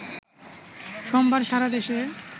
সোমবার সারা দেশে